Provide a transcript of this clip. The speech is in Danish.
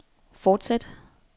fortsæt